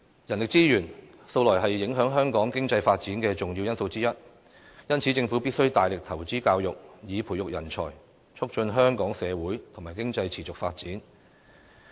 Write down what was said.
人力資源，素來是影響香港經濟發展的重要因素之一，因此，政府必須大力投資教育，以培育人才，促進香港社會和經濟持續發展。